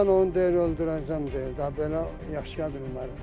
Mən onu deyir öldürəcəm deyir, da belə yaşaya bilmərəm.